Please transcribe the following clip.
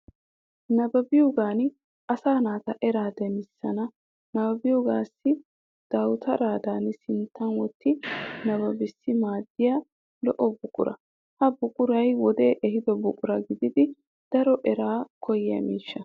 Nabbabiyogan asaa naata eraa demissiyanne nabbabiyagaassi dawutaradan sinttan wotti nabbanaassi maaddiya al"o buqura. Ha buquray wode ehiido buqara gididi daro eraa koyyiya miishsha.